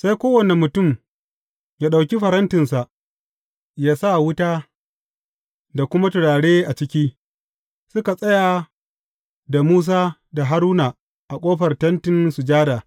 Sai kowane mutum ya ɗauki farantinsa, ya sa wuta da kuma turare a ciki, suka tsaya da Musa da Haruna a ƙofar Tentin Sujada.